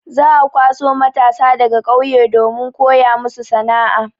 Za'a kwaso matasa daga ƙauye domin koya musu sana'a.